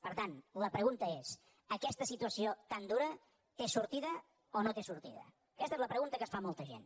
per tant la pregunta és aquesta situació tan dura té sor tida o no té sortida aquesta és la pregunta que es fa molta gent